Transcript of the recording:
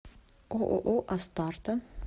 ооо астарта